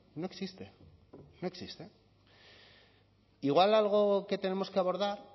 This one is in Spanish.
no existe no existe igual algo que tenemos que abordar